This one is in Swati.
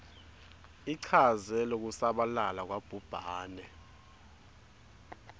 ichaze lokusabalala kwabhubhane